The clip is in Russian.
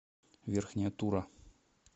верхняя тура